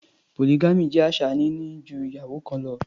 Polygamy jẹ́ àṣà níní ju ìyàwó kan lọ.